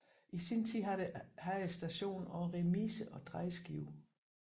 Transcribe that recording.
I sin tid havde stationen også remise og drejeskive